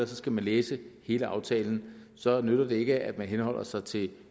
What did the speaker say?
så skal læse hele aftalen så nytter det ikke at man henholder sig til